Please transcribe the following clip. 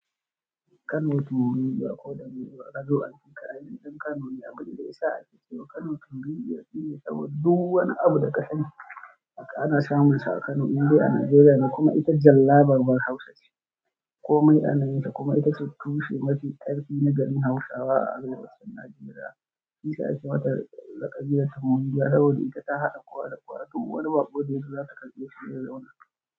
Kano tunbin giwa ko da me kazo amfika tun kafin an yi ɗan Kano ne, abin da ya sa ake cewa Kano tunbin giwa shine saboda duk wani abu da ka sani haka ana samun sa a Kano, inda yana Najeriya kuma ita jalla babbar Hausa ce. Komai ananta kuma ita ce tushe mafi ƙarfi na garin Hausawa a Najeriya. Shiyasa ita ce wata laƙabi da Kano jiya, saboda ita ta haɗa kowa da kowa tun wani bakunci shekara da suka gabata.